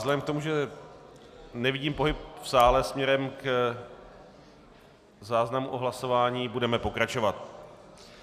Vzhledem k tomu, že nevidím pohyb v sále směrem k záznamu o hlasování, budeme pokračovat.